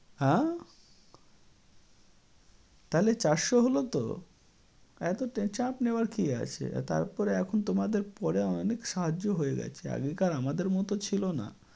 হা? তাহলে চারশো হল তো। এতটা চাপ নেয়ার কী আছে? তারপরে এখন তোমাদের পরে অনেক সহজও হয়ে গেছে। আগেকার আমাদের মত ছিল না।